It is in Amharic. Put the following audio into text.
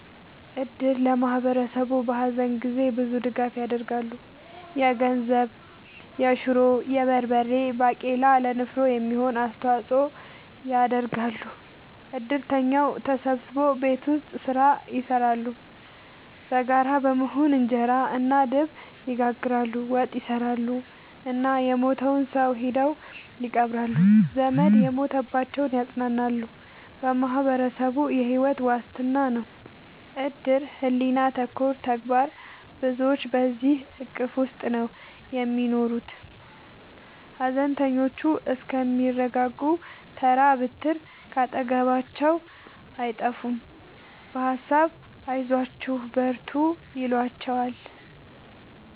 እድር ለማህበረሰቡ በሀዘን ጊዜ ብዙ ድጋፍ ይደረጋል። የገንዘብ፣ የሹሮ፣ የበርበሬ ባቄላ ለንፍሮ የሚሆን አስተዋጽኦ ያደርጋሉ። እድርተኛው ተሰብስቦ ቤት ውስጥ ስራ ይሰራሉ በጋራ በመሆን እንጀራ እና ድብ ይጋግራሉ፣ ወጥ ይሰራሉ እና የሞተውን ሰው ሄደው ይቀብራሉ። ዘመድ የሞተባቸውን ያፅናናሉ በማህበረሰቡ የሕይወት ዋስትና ነው እድር ሕሊና ተኮር ተግባር ብዙዎች በዚሕ እቅፍ ውስጥ ነው የሚኖሩት ሀዘነተኞቹ እስከሚረጋጉ ተራ ብትር ካጠገባቸው አይጠፍም በሀሳብ አይዟችሁ በርቱ ይሏቸዋል።